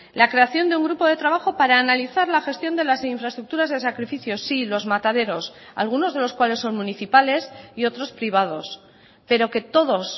la creación de un grupo de trabajo para analizar la gestión de las infraestructuras de sacrificio sí los mataderos algunos de los cuales son municipales y otros privados pero que todos